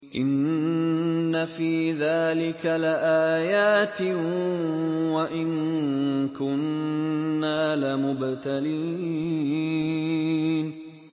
إِنَّ فِي ذَٰلِكَ لَآيَاتٍ وَإِن كُنَّا لَمُبْتَلِينَ